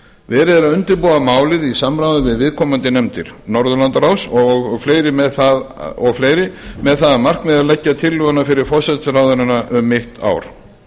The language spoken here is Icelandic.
verið er að undirbúa málið í samráði við viðkomandi nefndir norðurlandaráðs og fleiri með það að markmiði að leggja tillögu fyrir forsætisráðherrana um mitt ár